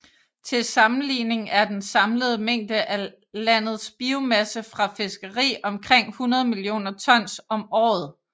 Til sammenligning er den samlede mængde af landet biomasse fra fiskeri omkring 100 millioner tons om året